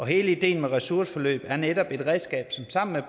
hele ideen med ressourceforløbet er netop være et redskab til sammen med